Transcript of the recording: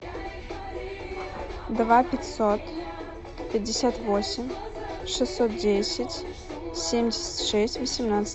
два пятьсот пятьдесят восемь шестьсот десять семьдесят шесть восемнадцать